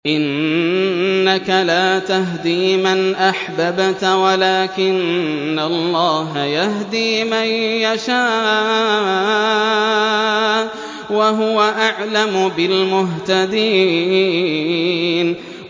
إِنَّكَ لَا تَهْدِي مَنْ أَحْبَبْتَ وَلَٰكِنَّ اللَّهَ يَهْدِي مَن يَشَاءُ ۚ وَهُوَ أَعْلَمُ بِالْمُهْتَدِينَ